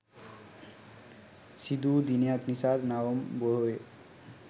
සිදු වූ දිනයක් නිසා නවම් පොහොය